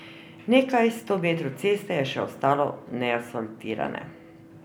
Nekaj sto metrov ceste je še ostalo neasfaltirane.